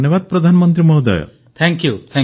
ପ୍ରଧାନମନ୍ତ୍ରୀ ନଲ ୱାଡ଼ ତୁକ୍କଲ୍ ଅନେକ ଶୁଭକାମନା